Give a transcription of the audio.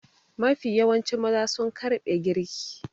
Mafi yawancin maza sun ƙarɓe girki.